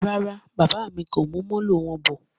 Rárá, bàbá mí kò mú Molo wọn bọ̀